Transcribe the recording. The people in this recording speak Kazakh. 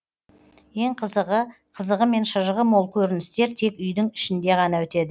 ең қызығы қызығы мен шыжығы мол көріністер тек үйдің ішінде ғана өтеді